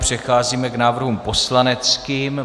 Přecházíme k návrhům poslaneckým.